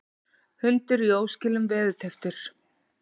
Hundur í óskilum veðurtepptur